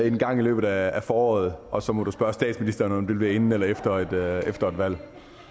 en gang i løbet af foråret og så må du spørge statsministeren om det bliver inden eller efter efter et valg